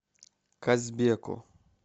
казбеку